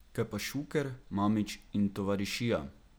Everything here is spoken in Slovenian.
Kaj pa Šuker, Mamić in tovarišija?